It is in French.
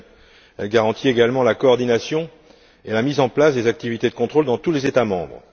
Elle garantit également la coordination et la mise en place des activités de contrôle dans tous les États membres.